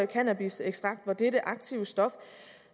cannabisekstrakt og hvor det er det aktive stof